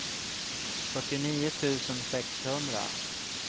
fyrtionio tusen sexhundra